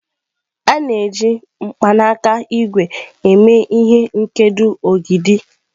A na-eji mkpanaka ígwè eme ihe nkedo ogidi.